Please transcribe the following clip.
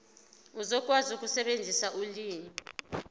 uzokwazi ukusebenzisa ulimi